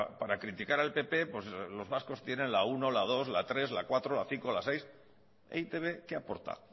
pues para criticar al pp pues los vascos tienen la uno la dos la tres la cuatro la cinco la seis e i te be qué aporta